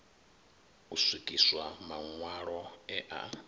u swikiswa maṋwalo e a